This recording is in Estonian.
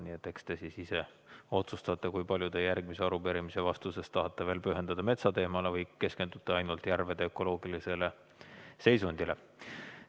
Nii et eks te siis ise otsustate, kui palju te järgmise arupärimise vastusest tahate veel pühendada metsateemale või keskendute ainult järvede ökoloogilisele seisundile.